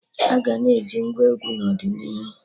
Aga na-eji Ngwá egwu n'ọdịnihu